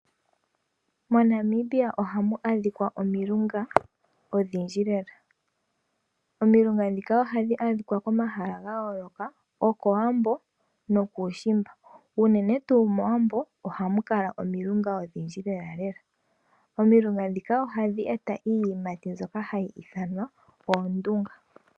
MoNamibia ohamu adhikwa omilunga odhindji lela. Omilunga ndhika ohadhi adhikwa komahala ga yooloka kowambo nokuushimba. Unene tuu mowambo ohamu kala omilunga odhindji lela lela. Omilunga ndhika ohadhi eta iiyimati mbyoka hayi ithanwa oondunga.